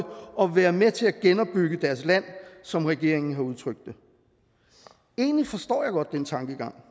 og være med til at genopbygge deres land som regeringen har udtrykt det egentlig forstår jeg godt den tankegang